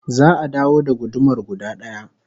Za'a dawo da gudumar guda daya